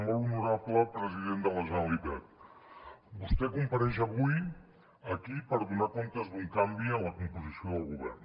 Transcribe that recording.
molt honorable president de la generalitat vostè compareix avui aquí per donar comptes d’un canvi en la composició del govern